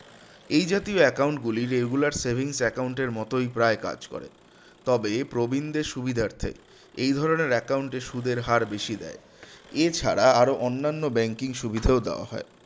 এই জাতীয় account গুলি regular savings account মতই প্রায় কাজ করে তবে প্রবীণদের সুবিধার্থে এই ধরনের account এ সুদের হার বেশি দেয় এছাড়া আরও অন্যান্য banking সুবিধাও দেওয়া হয়